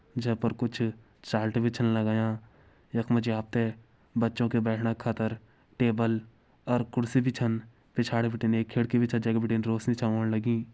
जै पर कुछ चार्ट भी छन लगायां यख मा जी आप ते बच्चों के बैठणा खातिर टेबल और कुर्सी भी छन पिछाड़ी बिटिन एक खिड़की भी छ जै के बिटिन रौशनी छ ओण लगीं।